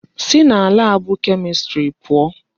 Si na laabụ Kemistri pụọ!